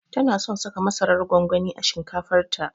Tana son saka masaran gwangwani a shinkafan ta